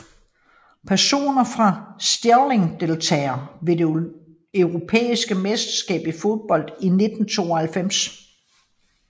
Personer fra Stirling Deltagere ved det europæiske mesterskab i fodbold 1992